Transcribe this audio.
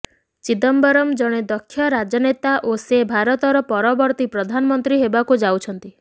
ଚିଦମ୍ବରମ୍ ଜଣେ ଦକ୍ଷ ରାଜନେତା ଓ ସେ ଭାରତର ପରବର୍ତ୍ତୀ ପ୍ରଧାନମନ୍ତ୍ରୀ ହେବାକୁ ଯାଉଛନ୍ତି